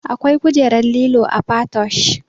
Akwai kujerar lilo a patoosh